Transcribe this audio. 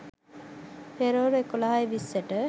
පෙරවරු එකොළහයි විස්සට